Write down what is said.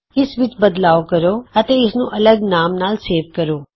ਇਸ ਵਿਚ ਬਦਲਾਉ ਕਰੋ ਅਤੇ ਇਸਨੂੰ ਅੱਲਗ ਨਾਮ ਨਾਲ ਸੇਵ ਕਰੋ